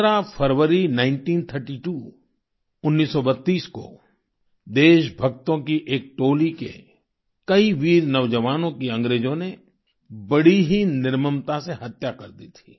15 फरवरी nineteen thirty two 1932 को देशभक्तों की एक टोली के कई वीर नौजवानों की अंग्रेजों ने बड़ी ही निर्ममता से हत्या कर दी थी